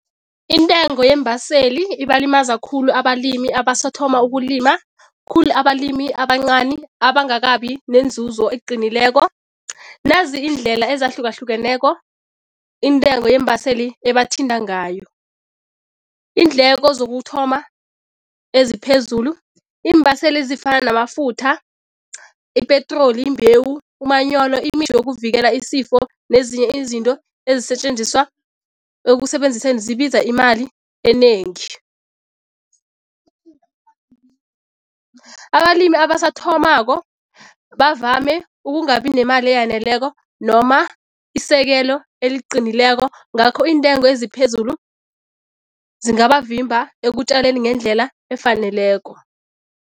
Intengo yeembaseli ibalimaza khulu abalimi abasathoma ukulima, khulu abalimi abancani abangakabi nenzuzo eqinileko. Nazi iindlela ezahlukahlukeneko intengo yeembaseli ebathinta ngayo, iindleko zokuthoma eziphezulu, iimbaseli ezifana namafutha, ipetroli, imbewu, umanyolo, yokuvikela isifo nezinye izinto ezisetjenziswa ekusebenziseni zibiza imali enengi. Abalimi abasathomako bavame ukungabi nemali eyaneleko noma isekelo eliqinileko ngakho iintengo eziphezulu zingabavimba ekutjaleni ngendlela efaneleko.